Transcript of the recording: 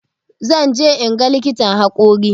Zan je inga likitan haƙori